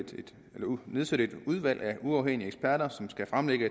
nedsætte et udvalg af uafhængige eksperter som skal fremlægge